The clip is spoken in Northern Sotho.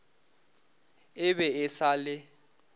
e be e sa le